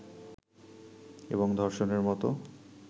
এবং ধর্ষণের মতো